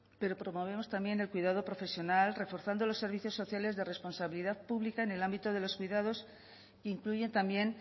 pero promovemos también el cuidado profesional reforzando los servicios sociales de responsabilidad pública en el ámbito de los cuidados que incluyen también